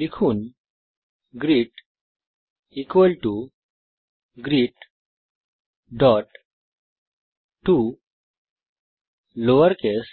লিখুন greet greet toLowerCase